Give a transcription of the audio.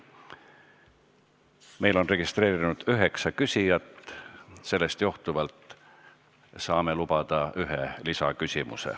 Meil on registreerunud üheksa küsijat, sellest johtuvalt saame iga teema arutelul lubada ühe lisaküsimuse.